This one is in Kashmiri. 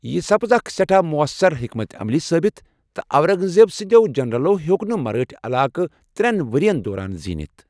یہِ سپٕز اکھ سیٹھاہ معسر حیکمت عملی ثٲبِت، تہٕ اونگ زیب سٕندٮ۪و جنرلو ہِیوٚک نہٕ مرٲٹھۍ علاقہٕ ترٚین ؤرین دوران زیٖنِتھ۔